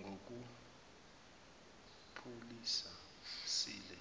ngokuphusile